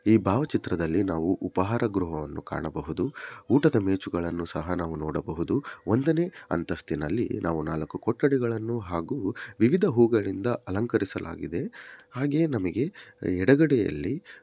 ಈ ಭಾವ ಚಿತ್ರದಲ್ಲಿ ನಾವು ಉಪಾಹಾರ ಗ್ರಹವನ್ನು ಕಾಣಬಹುದು ಊಟದ ಮೆಚುಗಳನ್ನು ಸಹ ನಾವು ನೋಡಬಹುದು ಒಂದನೇ ಅಂತಸ್ಥಿನಲ್ಲಿ ನಾವು ನಾಲಕ್ಕು ಕೊಠಡಿಗಳನ್ನು ಹಾಗು ವಿವಿದ ಹೂಗಳಿಂದ ಅಲಂಕರಿಸಲಾಗಿದೆ ಹಾಗೆ ನಮಗೆ ಯಡಗಡೆಯಲ್ಲಿ ಸಹಾ--